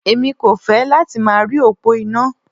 Èmi kò fẹ́ láti máa rí òpó iná.